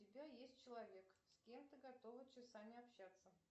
у тебя есть человек с кем ты готова часами общаться